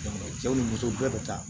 cɛw ni musow bɛɛ bɛ ta